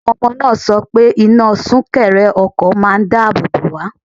Àwọn ọmọ náà sọ pé iná súnkẹrẹ ọkọ̀ máà ń dáàbò bò wá.